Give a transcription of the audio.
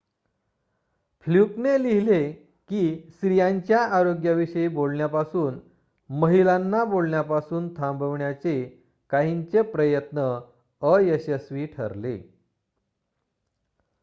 फ्लूकने लिहिले की स्त्रीयांच्या आरोग्याविषयी बोलण्यापासून महिलांना बोलण्यापासून थांबवण्याचे काहींचे प्रयत्न अयशस्वी ठरले